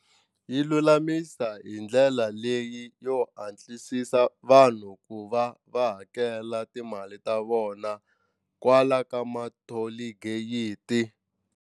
Yi lulamisa hi ndlela leyi yo hatlisisa vanhu ku va va hakela timali ta vona kwala ka ma-toll gate.